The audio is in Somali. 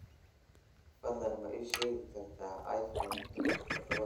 fadlan ma ii sheegi kartaa iPhone todoba